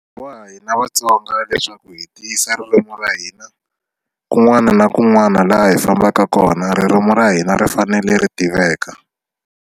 Wa hina Vatsonga leswaku hi tiyisa ririmi ra hina kun'wana na kun'wana laha hi fambaka kona ririmi ra hina ri fanele ri tiveka.